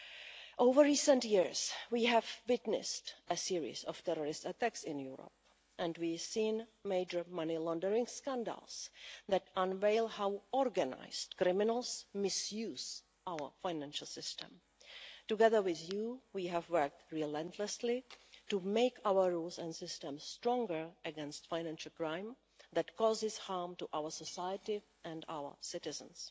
In recent years, we have witnessed a series of terrorist attacks in Europe and we have seen major money laundering scandals that unveil how organised criminals misuse our financial system. Together with you, we have worked relentlessly to make our rules and systems stronger against financial crime that causes harm to our society and our citizens.